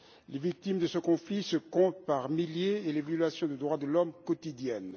Les victimes de ce conflit se comptent par milliers et les violations des droits de l'homme sont quotidiennes.